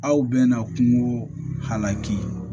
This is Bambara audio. Aw bɛna kungo halaki